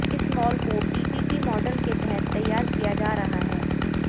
इस मॉल को PPP model के तहत तैयार किया जा रहा है